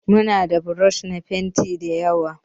Mu na da buroshi na fenti dayawa.